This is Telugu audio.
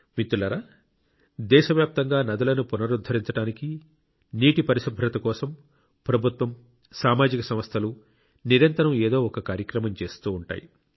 మిత్రులారా దేశవ్యాప్తంగా నదులను పునరుద్ధరించడానికి నీటి పరిశుభ్రత కోసం ప్రభుత్వం సామాజిక సంస్థలు నిరంతరం ఏదో ఒక కార్యక్రమం చేస్తూ ఉంటాయి